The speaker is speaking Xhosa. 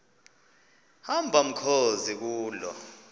hamba mkhozi kuloo